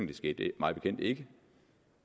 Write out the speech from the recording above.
det skete mig bekendt ikke